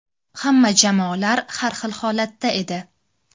Hamma jamoalar har xil holatda edi.